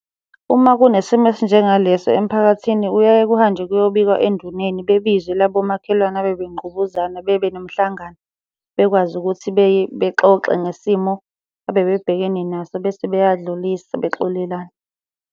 Uma kunesimo esinjengaleso emphakathini kuyaye kuhanjwe luyobikwa enduneni. Bebizwe labo makhelwane abebengqubuzana bebe nomhlangano. Bekwazi ukuthi bexoxe ngesimo abebebhekene naso bese beyadlulisa bexolelana.